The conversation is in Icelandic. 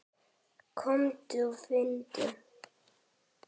Komdu og finndu!